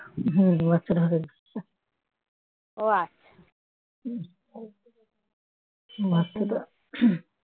বাচ্চাটা হয়েছে